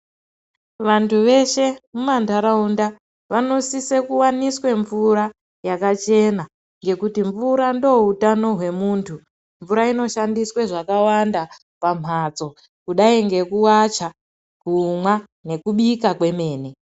Vantu veshe mumandarawunda vanosiswe kuwaniswa mvura yakachena ngekuti mvura ndowutano wemuntu. Mvura inoshandiswe zvakawanda pamhatso kudai ngekuwacha , kumwa nekubika kwemene.